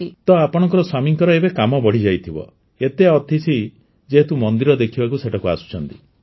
ତ ଆପଣଙ୍କ ସ୍ୱାମୀଙ୍କର ଏବେ କାମ ବଢ଼ିଯାଇଥିବ ଏତେ ଅତିଥି ଯେହେତୁ ମନ୍ଦିର ଦେଖିବାକୁ ସେଠାକୁ ଆସୁଛନ୍ତି